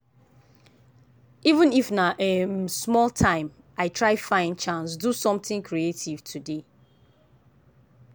even if na um small time i try find chance do something creative today.